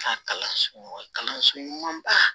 Ka kalanso kalanso ɲumanba